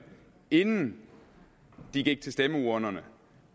inden de gik til stemmeurnerne